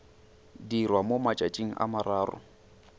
dirwa mo matšatšing a morago